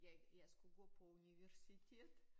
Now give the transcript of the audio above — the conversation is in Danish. Jeg jeg skulle gå på universitet